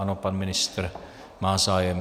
Ano, pan ministr má zájem.